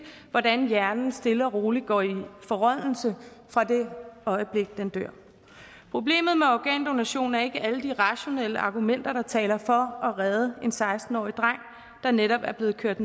hvordan hjernen stille og roligt går i forrådnelse fra det øjeblik den dør problemet med organdonation er ikke alle de rationelle argumenter der taler for at redde en seksten årig dreng der netop er blevet kørt